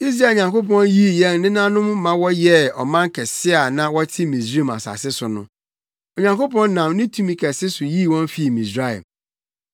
Israel Nyankopɔn yii yɛn nenanom ma wɔyɛɛ ɔman kɛse bere a na wɔte Misraim asase so no. Onyankopɔn nam ne tumi kɛse so yii wɔn fii Misraim,